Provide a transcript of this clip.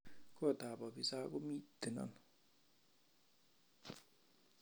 Kotab abisa komitten ano?